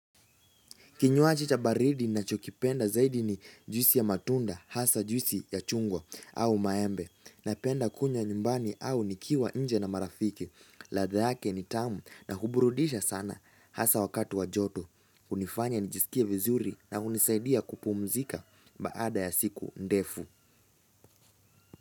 Kinywaji cha baridi ninachokipenda zaidi ni juisi ya matunda hasa juisi ya chungwa au maembe napenda kunywa nyumbani au nikiwa nje na marafiki. Ladha yake ni tamu na huburudisha sana hasa wakati wa joto. Hunifanya nijisikie vizuri na hunisaidia kupumzika baada ya siku ndefu.